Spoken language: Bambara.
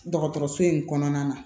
Dɔgɔtɔrɔso in kɔnɔna na